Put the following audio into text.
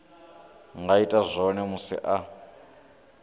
nga ita zwone musi a